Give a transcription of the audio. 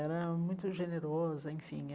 Era muito generosa, enfim.